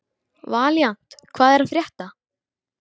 Valíant, hvað er að frétta?